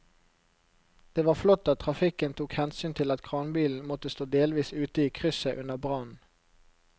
Det var flott at trafikken tok hensyn til at kranbilen måtte stå delvis ute i krysset under brannen.